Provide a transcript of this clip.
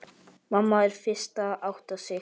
Mamma er fyrst að átta sig